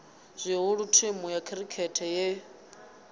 zwihulu thimu ya khirikhethe ye